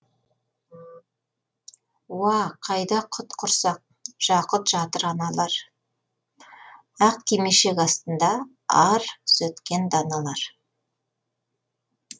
уа қайда құт құрсақ жақұт жатыр аналар ақ кимешек астында ар күзеткен даналар